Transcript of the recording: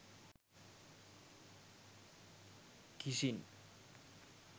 kissing